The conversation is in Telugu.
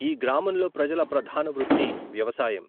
ఈ గ్రామంలో ప్రజల ప్రధాన వృత్తి వ్యవసాయం.